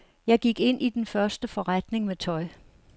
Jeg gik ind i den første forretning med tøj.